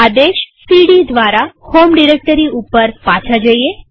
આદેશ સીડી દ્વારા home directory ઉપર પાછા જઈએ